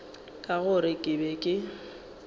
ka gore ke be ke